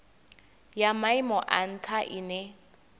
ya maimo a ntha ine